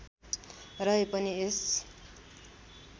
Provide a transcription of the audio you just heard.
रहे पनि यस